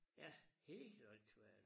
Ja helt åndssvagt